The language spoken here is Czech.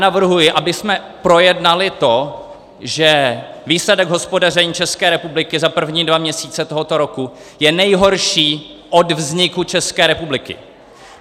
Navrhuji, abychom projednali to, že výsledek hospodaření České republiky za první dva měsíce tohoto roku je nejhorší od vzniku České republiky.